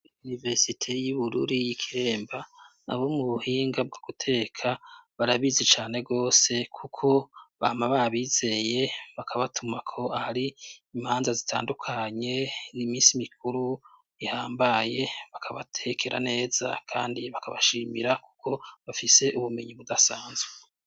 Iniverisite y'ibururi y'ikiremba, abo mu buhinga bwo guteka barabizi cane gose, kuko bama babizeye bakabatumako ahari imanza zitandukanye n'iminsi mikuru ihambaye, bakabatekera neza kandi bakabashimira ko bafise ubumenyi budasanzwe.